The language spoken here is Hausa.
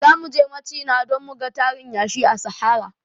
Zamuje machina don muga tarin yashi na sahara